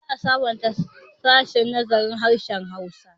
Za a sabunta sashen nazarin harshen Hausa.